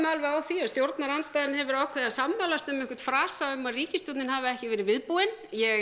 alveg á því að stjórnarandstaðan hefur ákveðið að sammælast um einhvern frasa um að ríkisstjórnin hafi ekki verið viðbúin ég